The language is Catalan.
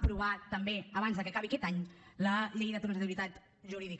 aprovar també abans que acabi aquest any la llei de transitorietat jurídica